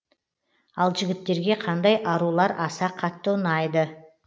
ал жігіттерге қандай арулар аса қатты ұнайды